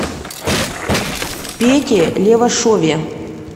пете левашове